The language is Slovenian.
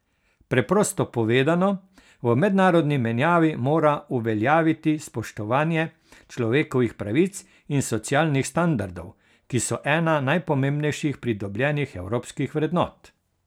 Preprosto povedano, v mednarodni menjavi mora uveljaviti spoštovanje človekovih pravic in socialnih standardov, ki so ena najpomembnejših pridobljenih evropskih vrednot.